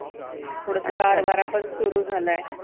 थोडासा गार वारा पण सुरू झालाय.